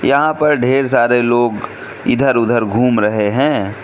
यहां पर ढेर सारे लोग इधर उधर घूम रहे हैं।